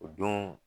O don